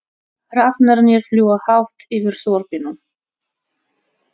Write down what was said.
Hrafnarnir fljúga hátt yfir þorpinu.